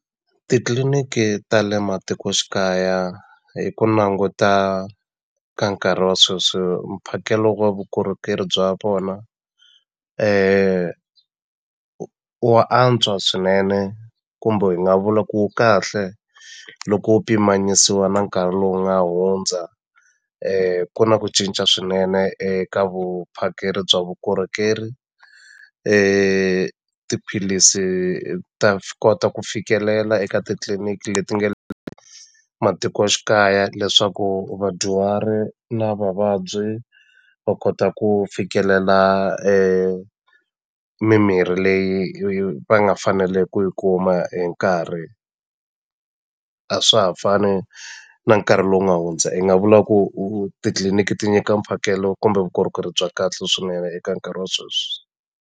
Titliliniki ta le matikoxikaya hi ku languta ka nkarhi wa sweswi mphakelo wa vukorhokeri bya vona wa antswa swinene kumbe hi nga vula ku wu kahle loko wu pimanisiwa na nkarhi lowu nga hundza ku na ku cinca swinene eka vuphakeri bya vukorhokeri tiphilisi ta kota ku fikelela eka titliliniki leti nge le matikoxikaya leswaku vadyuhari na vavabyi va kota ku fikelela mimirhi leyi va nga fanele ku yi kuma hi nkarhi a swa ha fani na nkarhi lowu nga hundza hi nga vula ku titliliniki ti nyika mphakelo kumbe vukorhokeri bya kahle swinene eka nkarhi wa sweswi.